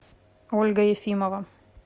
ольга ефимова